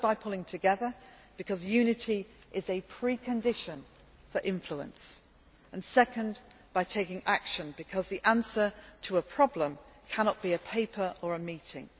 Firstly, by pulling together, because unity is a pre condition for influence and, secondly, by taking action, because the answer to a problem cannot be a paper or a meeting.